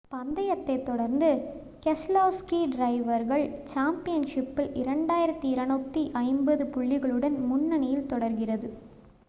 பந்தயத்தைத் தொடர்ந்து keselowski டிரைவர்கள் சாம்பியன்ஷிப்பில் 2,250 புள்ளிகளுடன் முன்னனியில் தொடர்கிறது